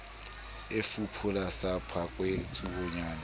e fuphula sa phakwe tsuonyana